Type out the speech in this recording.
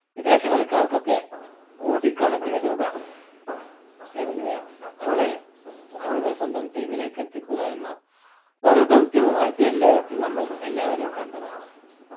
വിദേശ കളിക്കാർക്കൊക്കെ കോടിക്കണക്കിന് രൂപ എറിഞ്ഞ് അ അവരെ അവരുടെ സ്വന്തം team ലേക്ക് എത്തിക്കുക എന്ന ഓരോ ദൗത്യവും IPL ലേലത്തിൽ നമ്മളെല്ലാവരും കണ്ടതാണ്